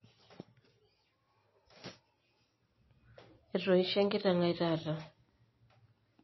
Eroishie enkiteng aai taata.